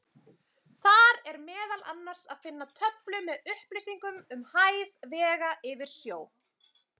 Þar er meðal annars að finna töflu með upplýsingum um hæð vega yfir sjó.